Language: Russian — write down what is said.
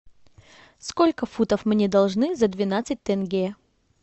сколько фунтов мне должны за двенадцать тенге